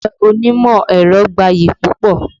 Iṣẹ́ onímọ̀ ẹ̀rọ gbayì púpọ̀